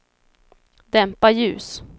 dämpa ljus